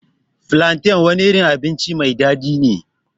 flantain wani irin abinci mai daɗi ne.